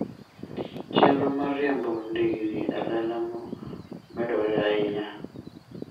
Chenro mar riembo ndigni e lela medore ahinya.